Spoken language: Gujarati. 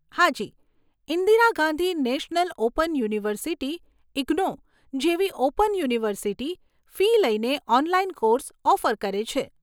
હાજી, Indira Gandhi national open university IGNOU જેવી ઓપન યુનિવર્સીટી ફી લઈને ઓનલાઈન કોર્સ ઓફર કરે છે.